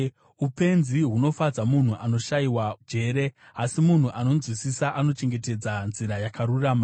Upenzi hunofadza munhu anoshayiwa njere, asi munhu anonzwisisa anochengetedza nzira yakarurama.